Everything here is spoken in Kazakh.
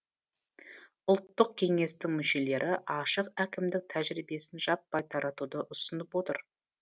ұлттық кеңестің мүшелері ашық әкімдік тәжірибесін жаппай таратуды ұсынып отыр